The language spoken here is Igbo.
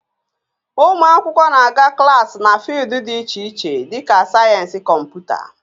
Ụmụ akwụkwọ na-aga klaasị na fịụldụ dị iche iche dịka sayensị Kọmputa